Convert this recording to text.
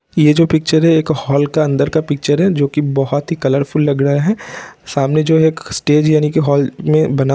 Picture है एक hall का अंदर का पिक्चर है जोकि बहुत ही कलरफुल लग रहा है| सामने जो है एक स्टेज यानी की हॉल में बना हुआ है।